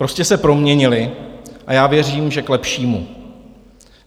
Prostě se proměnily a já věřím, že k lepšímu.